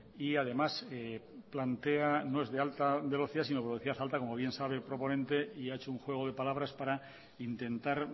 y además plantea no es de alta velocidad sino de velocidad alta como bien sabe el proponente y ha hecho un juego de palabras para intentar